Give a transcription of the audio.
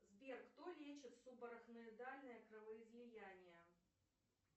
сбер кто лечит субарахноидальное кровоизлияние